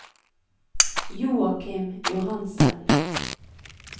Joakim Johansen